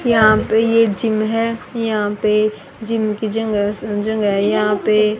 यहां पे ये जिम है यहां पे जिम के जिन जगह यहां पे--